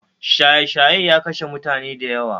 Shaye shaye ya kashe mutani dayawa